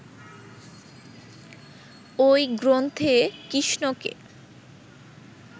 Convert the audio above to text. ঐ গ্রন্থে কৃষ্ণকে